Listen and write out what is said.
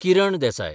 Kiran Desai